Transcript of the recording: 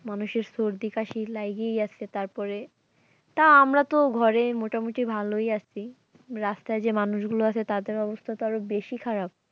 মানুষের সর্দি কাশি লাইগাই আছে আসে তারপরে তা আমরা তো ঘরে মোটামুটি ভালোই আসি রাস্তায় যে মানুষগুলো আছে তাদের অবস্থা তো আরো বেশি খারাপ।